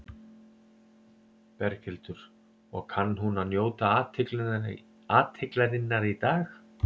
Berghildur: Og kann hún að njóta athyglinnar í dag?